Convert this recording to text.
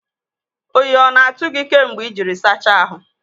Oyi ọ na-atụ gị kemgbe ịjiri sacha ahụ?